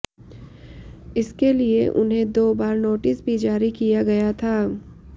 इसके लिए उन्हें दो बार नोटिस भी जारी किया गया था